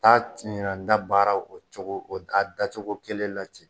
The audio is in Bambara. Taa a tiɲɛ na n da baaraw o cogo a dacogo kelen la ten